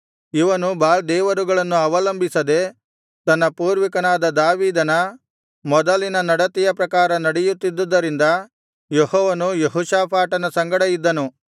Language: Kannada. ಇವನು ಬಾಳ್ ದೇವರುಗಳನ್ನು ಅವಲಂಬಿಸದೆ ತನ್ನ ಪೂರ್ವಿಕನಾದ ದಾವೀದನ ಮೊದಲಿನ ನಡತೆಯ ಪ್ರಕಾರ ನಡೆಯುತ್ತಿದ್ದದರಿಂದ ಯೆಹೋವನು ಯೆಹೋಷಾಫಾಟನ ಸಂಗಡ ಇದ್ದನು